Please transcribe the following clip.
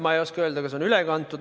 Ma ei oska öelda, kas on üle kantud.